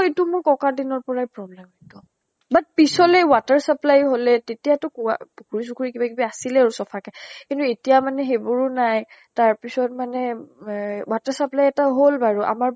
ইটো মোৰ ককাৰ দিনৰ পৰাই problem but পিছলৈ water supply হলে তেতিয়াটো কুৱাঁ পুখুৰী চুখুৰী কিবা কিবি আছিলে আৰু চফা কে । কিন্তু এতিয়া মানে সেইবোৰো নাই তাৰ পিছত মানে মেহ water supply এটা হল বাৰু আমাৰ